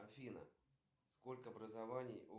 сколько сейчас времени